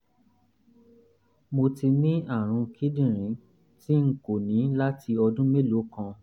mo ti ní àrùn kíndìnrín tí n kò ní láti ọdún mélòó kan